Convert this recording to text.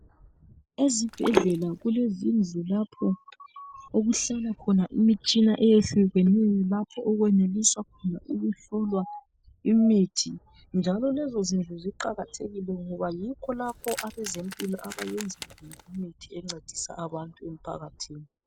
Ezibhedlela kulezindlu lapho okuhlala khona imitshina eyehlukeneyo lapho okweneliswa khona ukuhlolwa imithi. Ngakho lezi zindlu ziqakathekile ngoba yikho lapho abezempilo abayenza khona imithi encedisa abantu emphakathini.